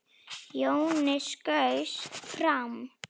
Jonni skaust fram.